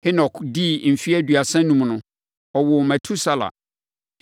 Henok dii mfeɛ aduosia enum no, ɔwoo Metusela.